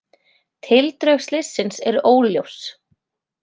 Tildrög slyssins eru óljós